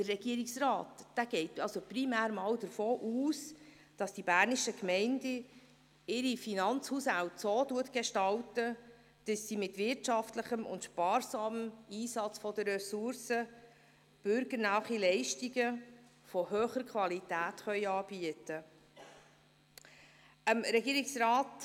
Der Regierungsrat geht primär davon aus, dass die bernischen Gemeinden ihre Finanzhaushalte so gestalten, dass sie mit wirtschaftlichem und sparsamem Einsatz der Ressourcen bürgernahe Leistungen von hoher Qualität anbieten können.